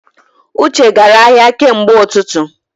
Uche gara ahịa kemgbe ututu